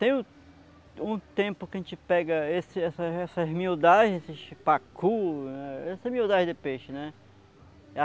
Tem um tempo que a gente pega esse essa essas miudagens, esses pacu, essas miudagens de peixe, né?